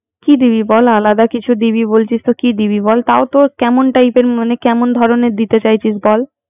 কি দিবি বল আলাদা কিছু দিবি বলছিস। তো কি দিবি বল। তাইতো কেমন typer মানে কেমন ধরনের দিতে চাইছিস বল